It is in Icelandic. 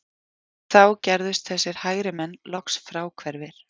Þá gerðust þessir hægrimenn loks fráhverfir